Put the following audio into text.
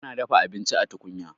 ana dafa abinci a tukunya